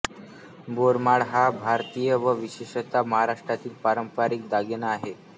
बोरमाळ हा भारतातील व विशेषतः महाराष्ट्रातील पारंपरिक दागिना आहे